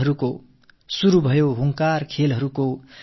விளையாட்டின் சவால் தொடங்கிவிட்டது